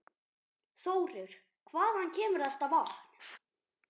Þórir: Hvaðan kemur þetta vatn?